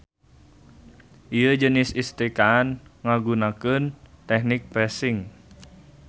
Ieu jenis istrikaan ngagunakeun tehnik pressing.